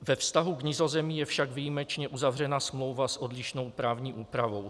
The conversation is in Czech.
Ve vztahu k Nizozemí je však výjimečně uzavřena smlouva s odlišnou právní úpravou.